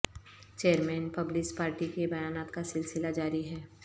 chairman Peoples Party کے بیانات کا سلسلہ جاری ہے